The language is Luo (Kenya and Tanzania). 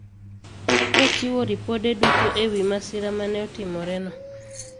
Kochiwo ripode duto e wi masira ma ne otimoreno